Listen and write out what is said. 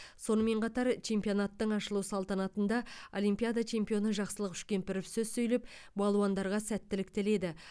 сонымен қатар чемпионаттың ашылу салтанатында олимпиада чемпионы жақсылық үшкемпіров сөз сөйлеп балуандарға сәттілік тіледі